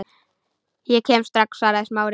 Ég kem strax- svaraði Smári.